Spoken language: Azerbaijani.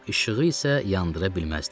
İşığı isə yandıra bilməzdim.